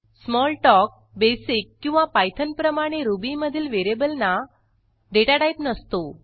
Smalltalk BASIC किंवा Pythonप्रमाणे रुबीमधील व्हेरिएबलना डेटाटाईप नसतो